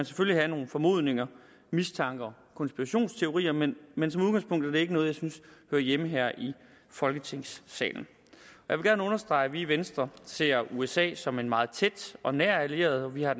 selvfølgelig have nogle formodninger mistanker konspirationsteorier men men som udgangspunkt er det ikke noget jeg synes hører hjemme her i folketingssalen jeg vil gerne understrege at vi i venstre ser usa som en meget tæt og nær allieret vi har